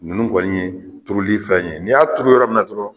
Nunnu kɔni ye turuli fɛn ye n'i y'a turu yɔrɔ min na dɔrɔn